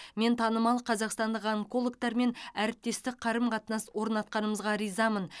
мен танымал қазақстандық онкологтармен әріптестік қарым қатынас орнатқанымызға ризамын